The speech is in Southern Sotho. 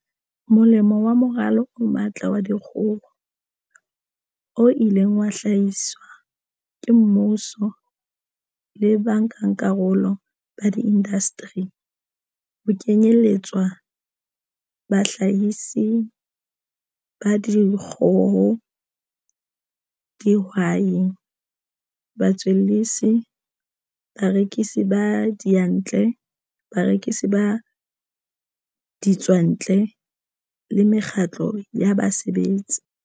molemo wa Moralo o Matla wa Dikgoho, o ileng wa hlahiswa ke mmuso le ba nkakarolo ba diindasteri, ho kenyeletswa bahlahisi ba dikgoho, dihwai, batswellisi, barekisi ba diyantle, barekisi ba ditswantle le mekgatlo ya basebetsi.